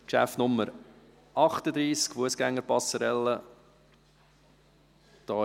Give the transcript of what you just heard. Es ist Traktandum 38 zur Fussgänger-Passerelle.